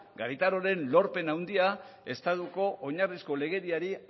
garitanoren lorpen handia estatuko oinarriko legediari